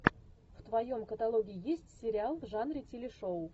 в твоем каталоге есть сериал в жанре телешоу